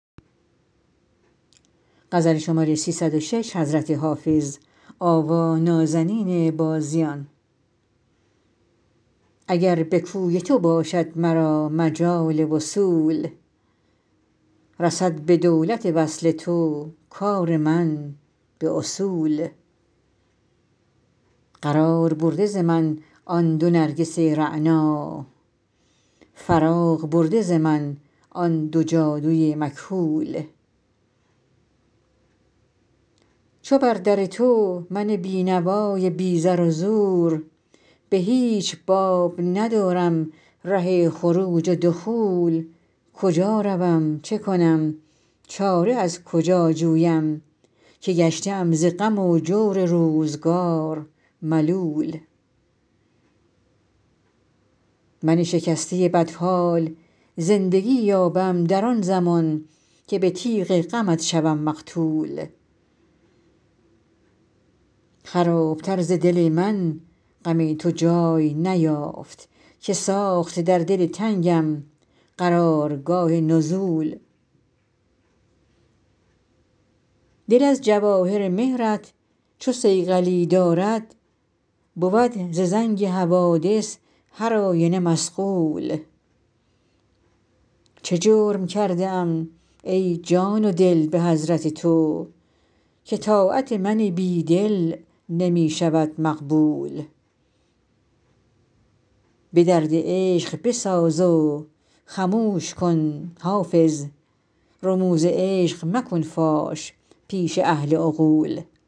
اگر به کوی تو باشد مرا مجال وصول رسد به دولت وصل تو کار من به اصول قرار برده ز من آن دو نرگس رعنا فراغ برده ز من آن دو جادو ی مکحول چو بر در تو من بینوا ی بی زر و زور به هیچ باب ندارم ره خروج و دخول کجا روم چه کنم چاره از کجا جویم که گشته ام ز غم و جور روزگار ملول من شکسته بدحال زندگی یابم در آن زمان که به تیغ غمت شوم مقتول خراب تر ز دل من غم تو جای نیافت که ساخت در دل تنگم قرار گاه نزول دل از جواهر مهر ت چو صیقلی دارد بود ز زنگ حوادث هر آینه مصقول چه جرم کرده ام ای جان و دل به حضرت تو که طاعت من بیدل نمی شود مقبول به درد عشق بساز و خموش کن حافظ رموز عشق مکن فاش پیش اهل عقول